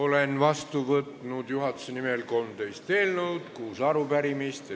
Olen vastu võtnud juhatuse nimel 13 eelnõu ja kuus arupärimist.